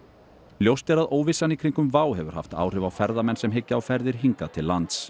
ljóst er að óvissan í kringum WOW hefur haft áhrif á ferðamenn sem hyggja á ferðir hingað til lands